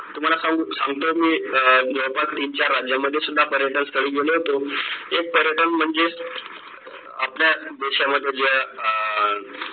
तुम्हाला सांगू सांगतोय मी अं जवळपास तीन चार राज्यांमध्ये सुद्धा पर्यटन स्थळी गेलो होतो. हे पर्यटन म्हणजे आपल्या देशामध्ये ज्या अं